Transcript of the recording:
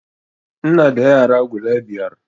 Ina da yara guda biyar